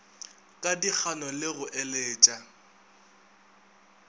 ka dikgano le go eletša